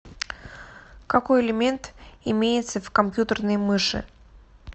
какой элемент имеется в компьютерной мыши